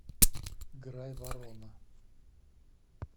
грайворона